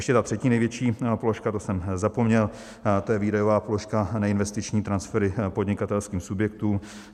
Ještě ta třetí největší položka, to jsem zapomněl, to je výdajová položka neinvestiční transfery podnikatelským subjektům.